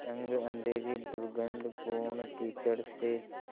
तंग अँधेरी दुर्गन्धपूर्ण कीचड़ से